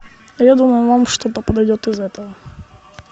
я думаю вам что то подойдет из этого